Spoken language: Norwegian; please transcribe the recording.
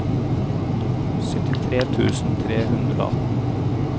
syttitre tusen tre hundre og atten